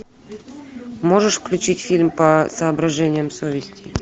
можешь включить фильм по соображениям совести